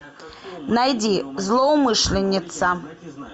найди злоумышленница